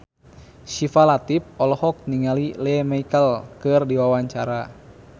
Syifa Latief olohok ningali Lea Michele keur diwawancara